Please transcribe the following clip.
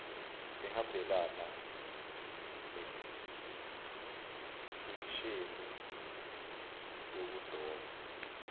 ehambelana nesekisheni yokudoba